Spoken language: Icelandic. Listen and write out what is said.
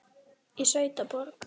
Í sveit og borg.